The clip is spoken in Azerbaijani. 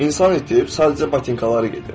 İnsan itib, sadəcə batinkaları gedir.